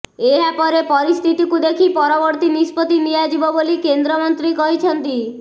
ଏହା ପରେ ପରିସ୍ଥିତିକୁ ଦେଖି ପରବର୍ତ୍ତୀ ନିଷ୍ପତ୍ତି ନିଆଯିବ ବୋଲି କେନ୍ଦ୍ରମନ୍ତ୍ରୀ କହିଛନ୍ତି